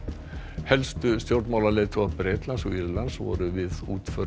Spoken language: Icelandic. helstu stjórnmálaleiðtogar Bretlands og Írlands voru við útför